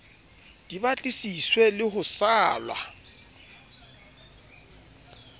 di batlisiswe le ho salwa